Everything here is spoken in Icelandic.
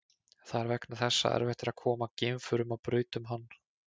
Það er vegna þess að erfitt er að koma geimförum á braut um hann.